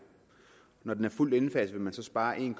når den er fuldt indfaset vil man spare en